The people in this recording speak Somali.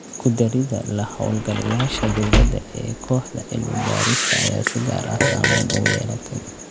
Ku darida la-hawlgalayaasha dowladda ee kooxda cilmi-baarista ayaa si gaar ah saameyn ugu yeelatay.